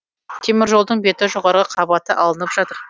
теміржолдың беті жоғарғы қабаты алынып жатыр